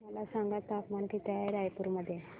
मला सांगा तापमान किती आहे रायपूर मध्ये